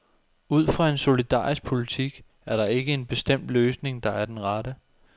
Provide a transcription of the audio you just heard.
Ud fra en solidarisk politik er der ikke en bestemt løsning, der er den rette.